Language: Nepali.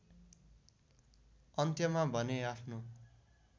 अन्त्यमा भने आफ्नो